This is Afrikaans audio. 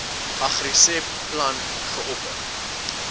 agriseb plan geopper